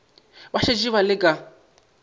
ba šetše ba le ka